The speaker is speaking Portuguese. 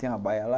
Tem uma baia lá.